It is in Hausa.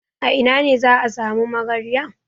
A ina ne za a sami magarya?